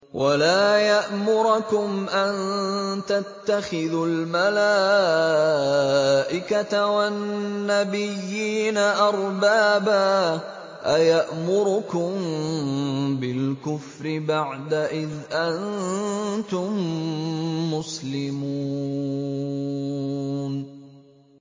وَلَا يَأْمُرَكُمْ أَن تَتَّخِذُوا الْمَلَائِكَةَ وَالنَّبِيِّينَ أَرْبَابًا ۗ أَيَأْمُرُكُم بِالْكُفْرِ بَعْدَ إِذْ أَنتُم مُّسْلِمُونَ